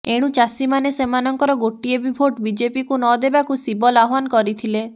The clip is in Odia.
ଏଣୁ ଚାଷୀମାନେ ସେମାନଙ୍କର ଗୋଟିଏ ବି ଭୋଟ୍ ବିଜେପିକୁ ନ ଦେବାକୁ ସିବଲ୍ ଆହ୍ବାନ କରିଥିଲେ